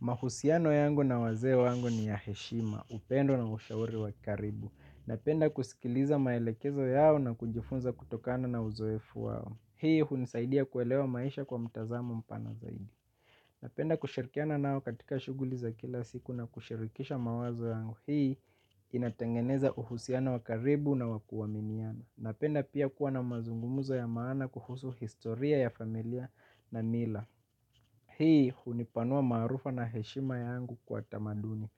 Mahusiano yangu na wazee yangu ni ya heshima, upendo na ushauri wakaribu. Napenda kusikiliza maelekezo yao na kujifunza kutokana na uzoefu wao. Hii hunisaidia kuelewa maisha kwa mtazamo mpana zaidi. Napenda kushirikiana nao katika shughuli za kila siku na kushirikisha mawazo yangu. Hii inatengeneza uhusiano wakaribu na wakuaminiana. Napenda pia kuwa na mazungumuzo ya maana kuhusu historia ya familia na mila. Hii hunipanua maarufa na heshima yangu kwa tamaduni.